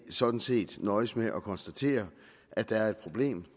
sådan set nøjes med at konstatere at der er et problem